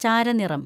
ചാരനിറം